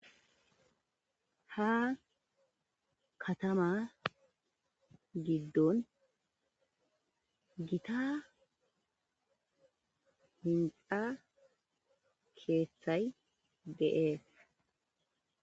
Ha kaatama giiddon giita hiinxxa keththay dess.